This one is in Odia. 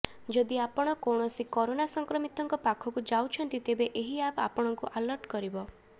ଯଦି ଆପଣ କୌଣସି କରୋନା ସଂକ୍ରମିତଙ୍କ ପାଖକୁ ଯାଉଛନ୍ତି ତେବେ ଏହି ଆପ୍ ଆପଣଙ୍କୁ ଆଲର୍ଟ କରିବ